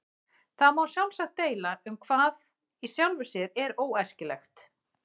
Það má sjálfsagt deila um hvað í sjálfu sér er óæskilegt.